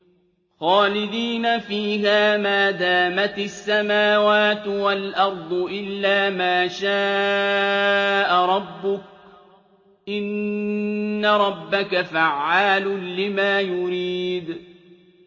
خَالِدِينَ فِيهَا مَا دَامَتِ السَّمَاوَاتُ وَالْأَرْضُ إِلَّا مَا شَاءَ رَبُّكَ ۚ إِنَّ رَبَّكَ فَعَّالٌ لِّمَا يُرِيدُ